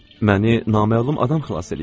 Məni naməlum adam xilas eləyir.